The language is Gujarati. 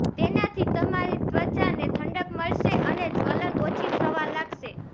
તેનાથી તમારી ત્વચાને ઠંડક મળશે અને જ્વલન ઓછી થવા લાગશે